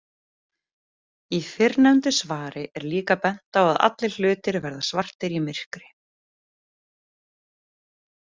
Í fyrrnefndu svari er líka bent á að allir hlutir verða svartir í myrkri.